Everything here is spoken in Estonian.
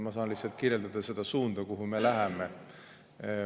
Ma saan lihtsalt kirjeldada seda suunda, kuhu me läheme.